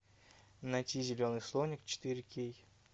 найти зеленый слоник четыре кей